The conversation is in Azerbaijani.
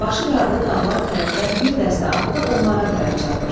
başı qarlı dağlar tərəfdən bir dəstə atdı onlara tərəf çapır.